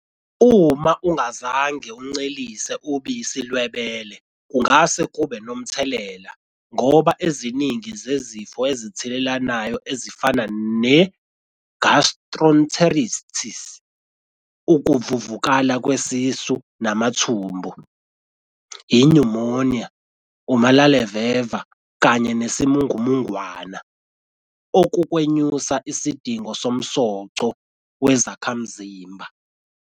Uma ungazange uncelise ubisi lwebele kungase kube nomthelela, ngoba eziningi zezifo ezithelelanayo ezifana- ne-gastroenteritis, ukuvuvukala kwesisu namathumbu, inyumoniya, umalaleveva kanye nesimungumungwana okukwenyusa isidingo somsoco wezakhamzimba.